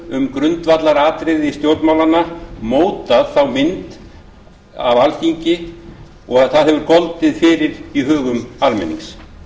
um grundvallaratriði stjórnmálanna mótað þá mynd sem alþingi hefur goldið fyrir í hugum almennings